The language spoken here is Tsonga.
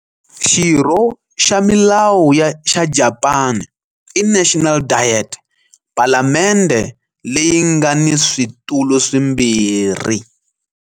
Xirho xa milawu xa Japani i National Diet, palamendhe leyi nga ni switulu swimbirhi.